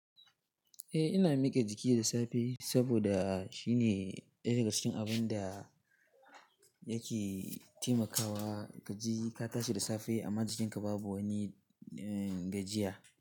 Eh ina miƙe jiki da safe saboda shine ɗaya daga cikin abun da yake taimakawa ka ji ka tashi da safe amma jikinka babu wani gajiya.